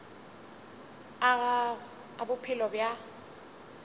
a gago a bophelo bja